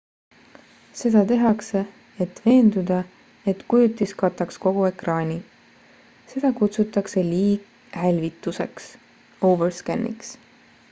seda tehakse et veenduda et kujutis kataks kogu ekraani. seda kutsutakse liighälvituseks overscan'iks